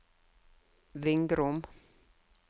Vingrom